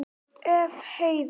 Ef. Heiðar